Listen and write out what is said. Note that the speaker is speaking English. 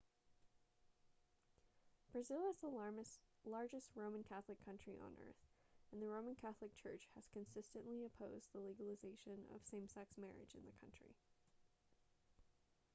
brazil is the largest roman catholic country on earth and the roman catholic church has consistently opposed the legalization of same-sex marriage in the country